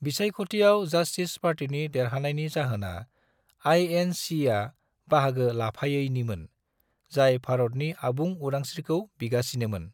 बिसायख'थियाव जस्टिस पार्टीनि देरहानायनि जाहोना आइ.एन.सि.या बाहागो लाफायैनिमोन, जाय भारतनि आबुं उदांस्रिखौ बिगासिनोमोन।